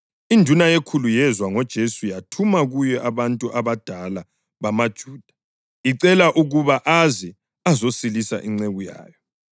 Induna yekhulu yezwa ngoJesu yathuma kuye abanye abadala bamaJuda icela ukuba eze azosilisa inceku yayo.